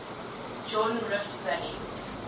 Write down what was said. jordan rift valley